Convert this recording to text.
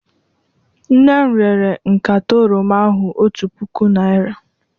Nne m rere nkata oroma ahụ otu puku naira